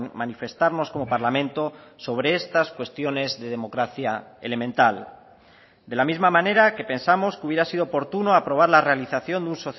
manifestarnos como parlamento sobre estas cuestiones de democracia elemental de la misma manera que pensamos que hubiera sido oportuno aprobar la realización de un